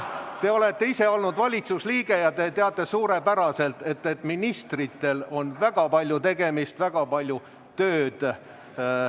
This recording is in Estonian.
Te olete ise olnud valitsuse liige ja te teate suurepäraselt, et ministritel on väga palju tegemist, väga palju tööd.